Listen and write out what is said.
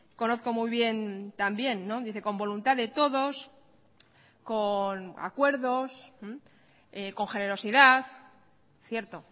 conozco muy bien también dice con voluntad de todos con acuerdos con generosidad cierto